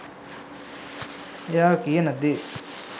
එයා කියන දේ